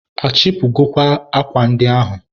a chịpụgokwa akwa ndị ahụ?